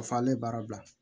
Fɔ ale baara bila